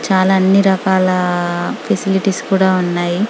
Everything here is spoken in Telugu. చాల అన్ని రకాల ఫెసిలిటీస్ కూడా ఉన్నాయి.